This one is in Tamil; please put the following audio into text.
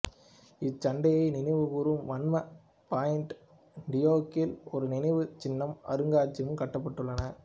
இச்சண்டையை நினைவு கூறும் வண்ணம் பாயிண்ட் டியோக்கில் ஒரு நினைவுச் சின்னமும் அருங்காட்சியகமும் கட்டப்பட்டுள்ளன